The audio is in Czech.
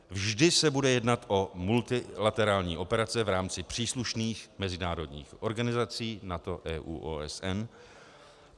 Vždy se bude jednat o multilaterální operace v rámci příslušných mezinárodních organizací NATO, EU, OSN.